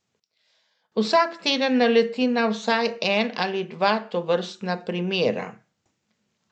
Vsak teden naleti na vsaj en ali dva tovrstna primera.